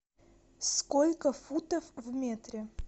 сколько футов в метре